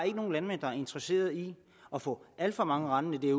ikke nogen landmænd der er interesserede i at få alt for mange rendende